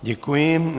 Děkuji.